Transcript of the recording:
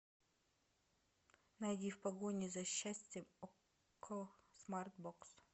найди в погоне за счастьем окко смарт бокс